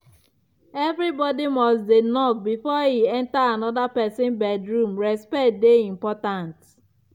everybody must dey knock before e enter anoda pesin bedroom respect dey important.